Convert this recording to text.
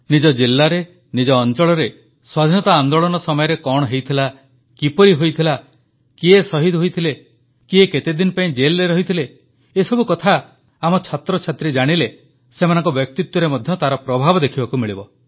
ନିଜ ଜିଲାରେ ନିଜ ଅଂଚଳରେ ସ୍ୱାଧୀନତା ଆନ୍ଦୋଳନ ସମୟରେ କଣ ହୋଇଥିଲା କିପରି ହୋଇଥିଲା କିଏ ଶହୀଦ ହୋଇଥିଲା କିଏ କେତେଦିନ ଦେଶପାଇଁ ଜେଲ୍ରେ ରହିଥିଲା ଏସବୁ କଥା ଆମ ଛାତ୍ରଛାତ୍ରୀ ଜାଣିଲେ ସେମାନଙ୍କ ବ୍ୟକ୍ତିତ୍ୱରେ ମଧ୍ୟ ତାର ପ୍ରଭାବ ଦେଖିବାକୁ ମିଳିବ